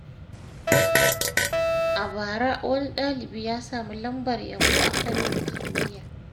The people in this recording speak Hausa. A bara, wani ɗalibi ya samu lambar yabo a fannin kimiyya.